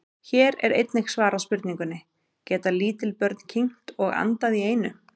Hér er einnig svarað spurningunni: Geta lítil börn kyngt og andað í einu?